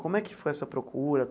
Como é que foi essa procura?